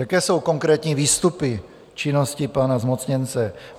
Jaké jsou konkrétní výstupy činnosti pana zmocněnce?